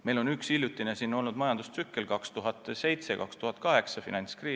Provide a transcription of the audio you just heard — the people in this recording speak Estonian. Mõni aeg tagasi oli meil majandustsükli käigus aastail 2007–2008 finantskriis.